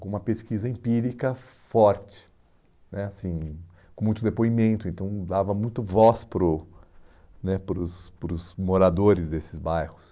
com uma pesquisa empírica forte, né assim, com muito depoimento, então dava muito voz para o né para os para os moradores desses bairros.